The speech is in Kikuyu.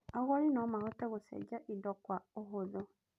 Agũri no mahote gũcenjia indo kwa ũhũthũ.